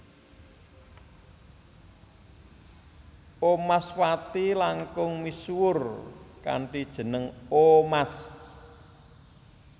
Omaswati langkung misuwur kanthi jeneng Omas